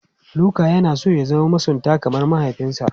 Luka yana son ya zama masunta kamar mahaifinsa.